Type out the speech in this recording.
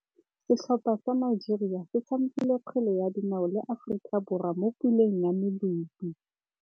Setlhopha sa Nigeria se tshamekile kgwele ya dinaô le Aforika Borwa mo puleng ya medupe.